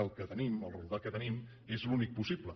que el que tenim el resultat que tenim és l’únic possible